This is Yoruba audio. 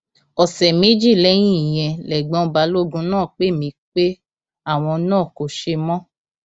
ọsẹ méjì lẹyìn ìyẹn lẹgbọn balógun náà pè mí pé àwọn náà kò ṣe mọ